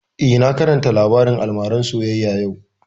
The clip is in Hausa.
Eh, na karanta labarin almaran soyayya yau